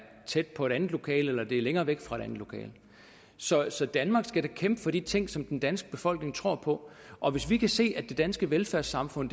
tæt på et andet lokale eller det er længere væk fra et andet lokale så så danmark skal da kæmpe for de ting som den danske befolkning tror på og hvis vi kan se at det danske velfærdssamfund